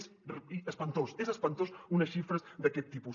són espantoses són espantoses unes xifres d’aquest tipus